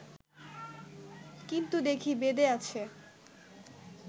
কিন্তু দেখি, বেদে আছে